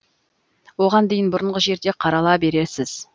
оған дейін бұрынғы жерде қарала бересіз